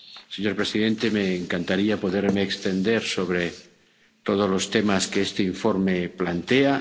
Señor presidente, me encantaría poderme extender sobre todos los temas que este informe plantea.